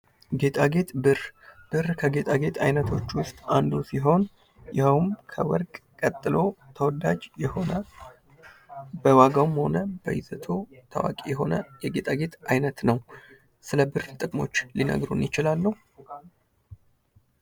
ጌጣጌጥ ብር ብር ከጌጣጌጥ አይነቶች ውስጥ አንዱ ሲሆን ይሄውም ከወርቅ ቀጥሎ ተወዳጅ የሆነ በዋጋውም በይዘቱ ታዋቂ ሆነ የጌጣጌጥ አይነት ነው። ስለ ብር ጥቅሞች ሊነግሩን ይችላሉ?